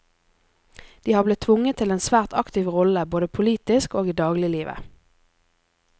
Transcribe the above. De har blitt tvunget til en svært aktiv rolle både politisk og i dagliglivet.